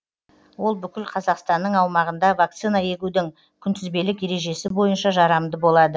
ол бүкіл қазақстанның аумағында вакцина егудің күнтізбелік ережесі бойынша жарамды болады